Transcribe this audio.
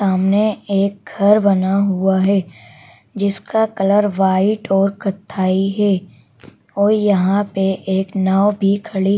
सामने एक घर बना हुआ है जिसका कलर व्हाइट और कत्थाई है और यहां पे एक नाव भी खड़ी--